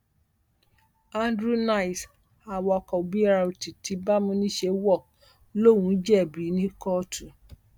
andrew nice awakọ brt ti bámúniṣe wo lòun ò jẹbi ní kóòtù